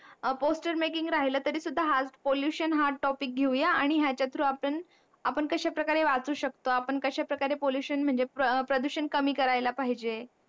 poster making राहील तरी सुद्धा हा pollution हाच topic घेऊ या आणि याचा through आपण कशा प्रकारे वाचू शकतो आपण कशा प्रकारे pollution म्हणजे प्रदूषण कमी करायला पाहिजे